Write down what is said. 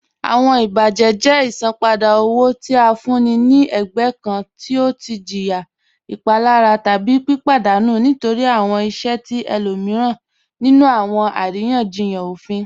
Awọn ibajẹ jẹ isanpada owo ti a fún ní fún ẹ̀gbẹ̀ kàn ti ọ tì jìyà ìpalàrà tábí pípadanù nítorí awọn ìṣẹ̀ ti ẹ̀lòmiran nínú awọn àriyanjíyàn òfín